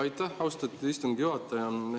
Aitäh, austatud istungi juhataja!